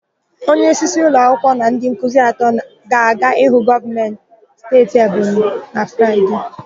Onyeisi ụlọakwụkwọ na ndị nkuzi atọ ga-aga ịhụ gọvanọ steeti Ebonyi na Fraịde.